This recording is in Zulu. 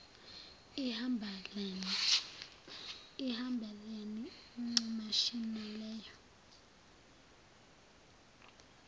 ihambelane ncamashi naleyo